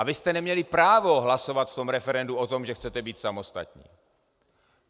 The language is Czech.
A vy jste neměli právo hlasovat v tom referendu o tom, že chcete být samostatní!